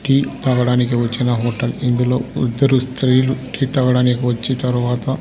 tea తాగడానికి వచ్చిన hotel ఇందులో ఇద్దరు స్త్రీలు టీ తగడానికి వచ్చి తర్వాత--